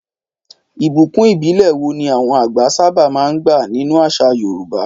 Ìbùkún ìbílẹ̀ wo ni àwọn àgbẹ̀ sábà máa ń gbà nínú àṣà Yorùbá?